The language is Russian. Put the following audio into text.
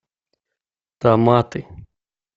томаты